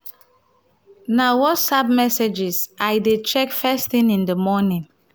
na na whatsapp messages i dey check first thing in the morning.